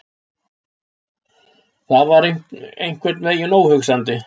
Það var einhvern veginn óhugsandi.